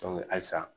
halisa